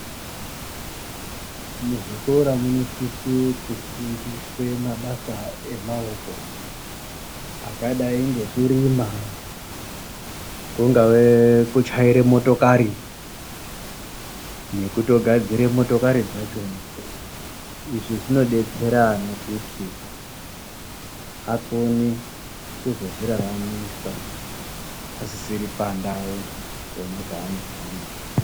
Muzvikora munosise kufundiswe mabasa emaoko angadai ngekurima, kungave kutyaire motokari nekutogadzire motokari dzachona izvi zvinodetsere ana kuti akone kusozviraramisa asiri pandau pona paanofunda .